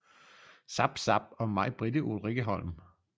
Zapp zapp og majbritte ulrikkeholm